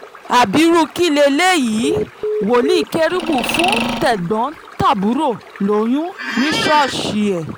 abirú kílẹ́lẹ́yìí wòlíì kérúbù fún tẹ̀gbọ́n-tàbúrò lóyún ní ṣọ́ọ̀ṣì ẹ̀